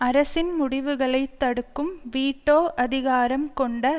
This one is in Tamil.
அரசின் முடிவுகளை தடுக்கும் வீட்டோ அதிகாரம் கொண்ட